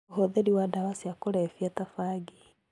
Ũhũthĩri wa ndawa cia kũrebia ta bangi,